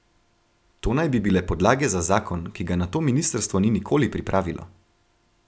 To naj bi bile podlage za zakon, ki ga nato ministrstvo ni nikoli pripravilo.